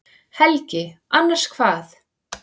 Helgi: Annars hvað?